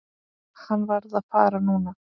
Hann varð að fara núna.